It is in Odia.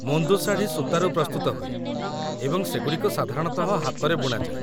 ମୁନ୍ଦୁ ଶାଢ଼ୀ ସୂତାରୁ ପ୍ରସ୍ତୁତ ହୁଏ, ଏବଂ ସେଗୁଡ଼ିକ ସାଧାରଣତଃ ହାତରେ ବୁଣାଯାଏ